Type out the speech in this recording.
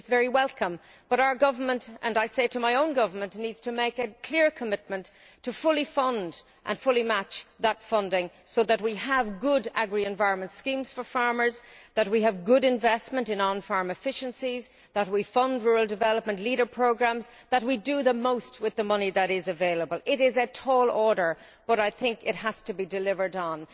It is very welcome, but our government and I say this to my own government needs to make a clear commitment to fully fund and fully match that funding so that we have good agri environmental schemes for farmers, we have good investment in on farm efficiencies and we fund rural development Leader programmes, thus making the most of the money that is available. It is a tall order, but I think it has to be delivered on.